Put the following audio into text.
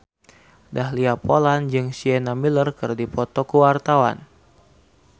Dahlia Poland jeung Sienna Miller keur dipoto ku wartawan